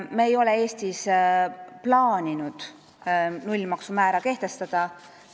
Me ei ole Eestis plaaninud nullmaksumäära kehtestada.